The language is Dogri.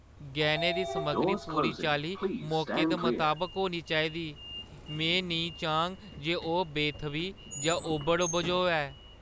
गैह्‌नें दी समग्गरी पूरी चाल्ली मौके दे मताबक होनी चाहिदी। में निं चाह्ङ जे ओह् बेथʼवी जां ओभड़ बझोऐ।